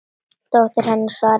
Dóttir hennar, svaraði Sveinn.